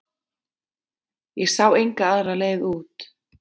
Ég sá enga aðra leið út.